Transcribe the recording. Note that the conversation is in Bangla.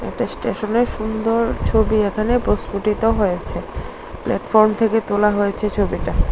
এস্টেশনের সুন্দর ছবি এখানে প্রস্ফুটিত হয়েছে প্ল্যাটফর্ম থেকে তোলা হয়েছে এই ছবিটা।